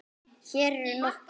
Hér eru nokkur